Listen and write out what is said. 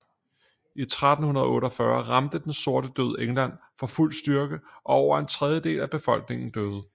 I 1348 ramte Den sorte død England for fuld styrke og over en tredjedel af befolkningen døde